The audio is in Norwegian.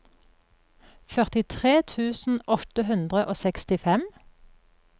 førtitre tusen åtte hundre og sekstifem